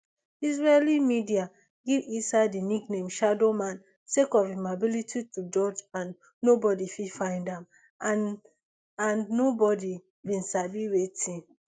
israeli media give issa di nickname shadow man sake of im ability to dodge and nobodi fit find am and and nobodi bin sabi wetin